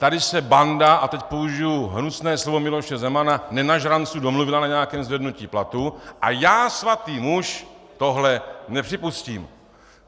Tady se banda - a teď použiji hnusné slovo Miloše Zemana - nenažranců domluvila na nějakém zvednutí platu a já, svatý muž, tohle nepřipustím.